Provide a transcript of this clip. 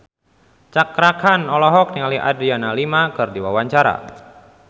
Cakra Khan olohok ningali Adriana Lima keur diwawancara